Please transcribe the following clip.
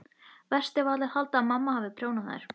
Verst ef allir halda að mamma hafi prjónað þær.